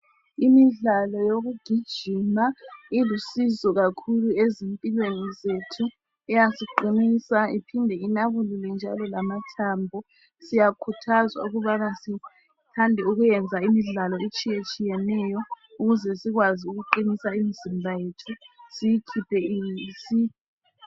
Imidlalo yokugijima ilusizo kakhulu ezimpilweni zethu. Iyasiqinisa, iphinde inabulule njalo lamathambo. Siyakhuthazwa ukubana sithande ukuyenza Imidlalo etshiyatshiyeneyo ukuze sikwazi ukuqinisa imizimba yethu, siyikhuphe isi.